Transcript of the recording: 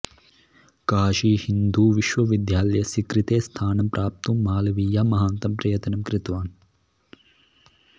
काशीहिन्दुविश्वविद्यालयस्य कृते स्थानं प्राप्तुं मालवीयः महान्तं प्रयत्नं कृतवान्